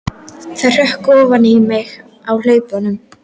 Það hrökk ofan í mig á hlaupunum.